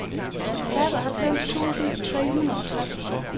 seksoghalvfems tusind tre hundrede og tretten